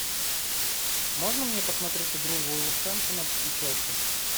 можно мне посмотреть игру вулверхэмптона и челси